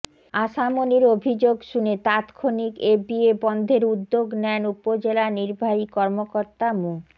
আশা মনির অভিযোগ শুনে তাৎক্ষণিক এ বিয়ে বন্ধের উদ্যোগ নেন উপজেলা নির্বাহী কর্মকর্তা মো